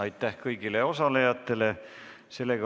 Aitäh kõigile osalejatele!